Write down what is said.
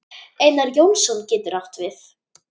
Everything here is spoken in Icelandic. Einar Jónsson getur átt við